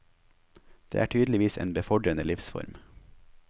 Det er tydeligvis en befordrende livsform.